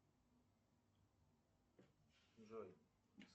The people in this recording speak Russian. джой